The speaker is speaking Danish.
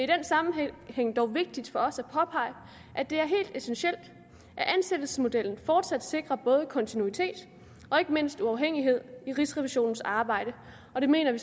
den sammenhæng dog vigtigt for os at påpege at det er helt essentielt at ansættelsesmodellen fortsat sikrer både kontinuitet og ikke mindst uafhængighed i rigsrevisionens arbejde og det mener vi